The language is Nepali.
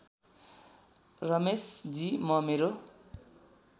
रमेशजी म मेरो